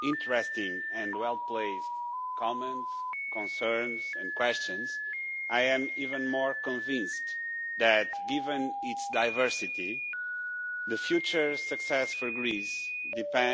interesting and well placed comments, concerns and questions, I am even more convinced that given its diversity, future success for Greece depends